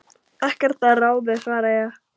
Ekkert að ráði svaraði ég.